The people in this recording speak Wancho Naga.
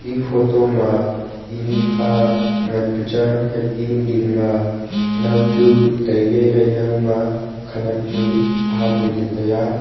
e photo ma tinu kha nganpu change a hai tinu dingma naw chu tailey hai naw ma khanak chu ahamley taiya.